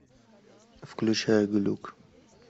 включай глюк